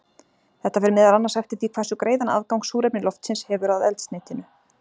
Þetta fer meðal annars eftir því hversu greiðan aðgang súrefni loftsins hefur að eldsneytinu.